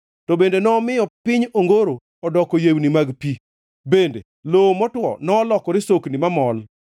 To bende nomiyo piny ongoro odoko yewni mag pi, kendo lowo motwo nolokore sokni mamol;